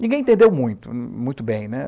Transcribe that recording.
Ninguém entendeu muito, muito bem, né?